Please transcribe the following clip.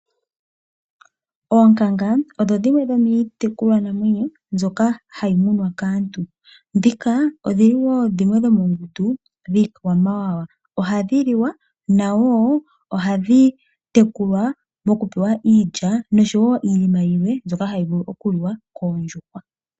Oonkanga odho dhimwe dhomiitekulwa namwenyo mbyoka hayi munwa kaantu, ndhika odhili wo dhimwe dhomongundu yiikwamawawa. Ohadhi liwa nohadhi tekulwa mokupewa iilya, nosho wo iinima yilwe mbyoka hayi vulu oku liwa koondjuhwa.